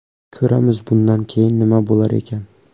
Ko‘ramiz, bundan keyin nima bo‘lar ekan.